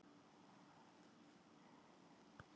Er hún á spottprís eins og haldið hefur verið fram um álverin?